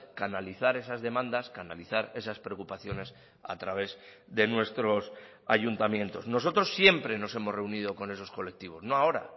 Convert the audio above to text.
canalizar esas demandas canalizar esas preocupaciones a través de nuestros ayuntamientos nosotros siempre nos hemos reunido con esos colectivos no ahora